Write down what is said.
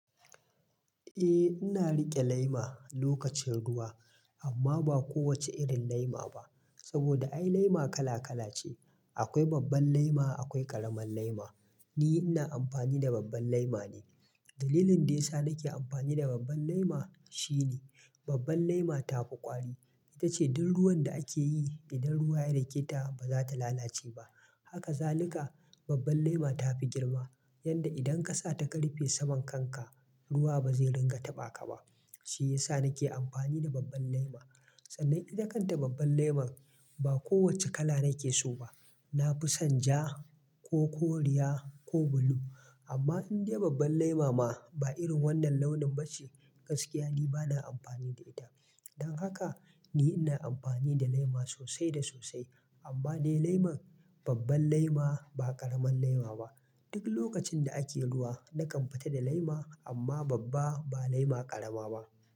Eh ina riƙe lema lokacin ruwa amma ba kowace irin lema ba. Saboda ai lema kala kala ce. Akwai babban lema akwai ƙaramar llema. Ni ina amfani da babban lema ne. Dalilin dai sa nake amfani da babban lema shine babban lema tafi ƙwari. Ita ce duk ruwan da ake yi idan ruwa ya riketa ba za ta lalace ba. Haka zalika babban lema tafi girma yanda idan kasa ta karfe saman kanka ruwa ba zai ringa taɓa ka ba. Shi yasa nake amfani da babban lema. Sannan idan kan ta babban lemon ba kowacce kala nake so ba. Na fi san ja ko koriya ko blue amma in dai babban lema ma ba irin wannan launin ba ce gaskiya ni bana amfani da ita. Dan haka ni ina amfani da lema sosai da sosai amma dai lemon babban lema ba ƙaramin lema ba. Duk lokacin da ake ruwa nakan fita da lema amma babba ba lema ƙarama ba.